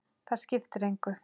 Það skiptir engu